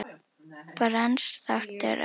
Brands þáttur örva